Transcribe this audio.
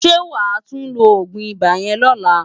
Sé wá tú ló ógún ibá yèn lòlá?